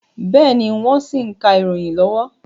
Bẹ́ẹ̀ni, wọ́n ṣì ń ka ìròyìn lọ́wọ́